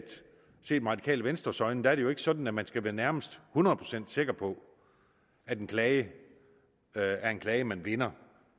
set med det radikale venstres øjne er det jo ikke sådan at man skal være nærmest hundrede procent sikker på at en klage er en klage man vinder